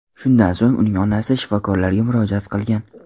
Shundan so‘ng uning onasi shifokorlarga murojaat qilgan.